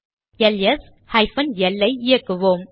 LS hyphen L I இயக்குவோம்